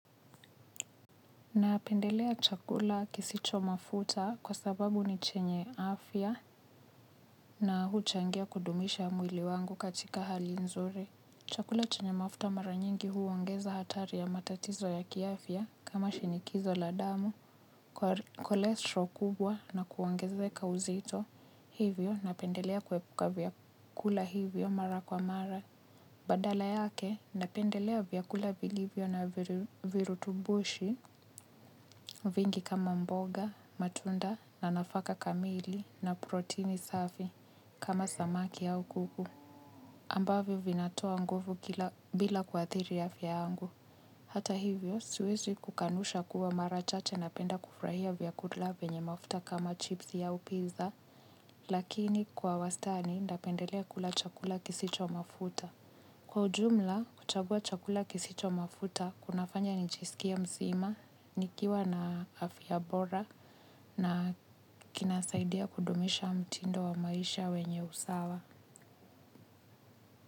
Napendelea chakula kisicho mafuta kwa sababu ni chenye afya na huchangia kudumisha mwili wangu katika hali nzuri. Chakula chenye mafuta mara nyingi huongeza hatari ya matatizo ya kiafya kama shinikizo la damu, kolestro kubwa na kuongezeka uzito hivyo napendelea kuepuka vyakula hivyo mara kwa mara. Badala yake, napendelea vyakula vilivyo na virutubushi vingi kama mboga, matunda na nafaka kamili na protini safi kama samaki au kuku. Ambavyo vinatoa nguvu bila kuathiri afya yangu. Hata hivyo, siwezi kukanusha kuwa marachache napenda kufurahia vyakula vyenye mafuta kama chipsi au pizza, lakini kwa wastani napendelea kula chakula kisicho mafuta. Kwa ujumla, kuchagua chakula kisicho mafuta, kunafanya nijisikie mzima, nikiwa na afya bora na kinasaidia kudumisha mtindo wa maisha wenye usawa.